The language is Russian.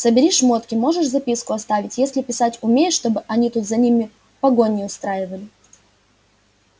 собери шмотки можешь записку оставить если писать умеешь чтобы они тут за ними погоню не устраивали